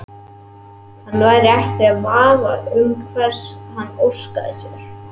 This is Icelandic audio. Hann væri ekki í vafa um hvers hann óskaði sér.